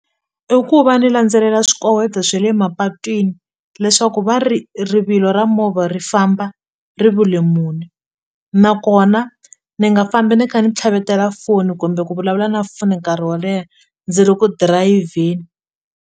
I ku va ni landzelela swikoweto swe le mapatwini leswaku va ri rivilo ra movha ri famba muni nakona ni nga fambi ni kha ni tlhavetela foni kumbe ku vulavula na foni nkarhi wo leha ndzi ri ku dirayivheni.